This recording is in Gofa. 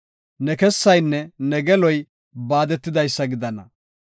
Ne kessaynne ne geloy baadetidaysa gidana.